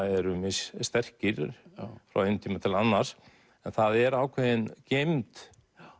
eru mis sterkir frá einum tíma til annars en það er ákveðin geymd